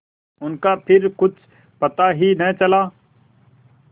उनका फिर कुछ पता ही न चला